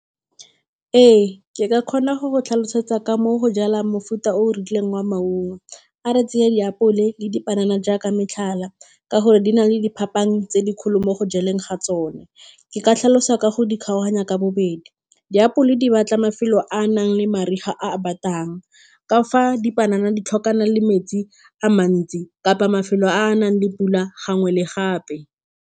Ee, ke ka kgona go go tlhalosetsa ka mo go jalang mofuta o o rileng wa maungo. A re tseye diapole le dipanana jaaka metlhala, ka gore di na le diphapang tse dikgolo mo go jalang ga tsone. Ke ka tlhalosa ka go di kgaoganya ka bobedi, diapole di batla mafelo a a nang le mariga a a batang, ka fa dipanana di tlhokana le metsi a mantsi kapa mafelo a a nang le pula gangwe le gape.